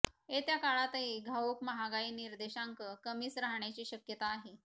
येत्या काळातही घाऊक महागाई निर्देशांक कमीच राहण्याची शक्यता आहे